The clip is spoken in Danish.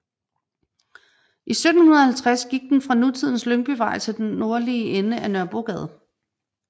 I 1750 gik den fra nutidens Lyngbyvej til den nordlige ende af Nørrebrogade